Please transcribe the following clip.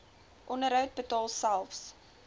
onderhoud betaal selfs